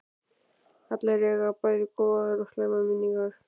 Allir eiga bæði góðar og slæmar minningar.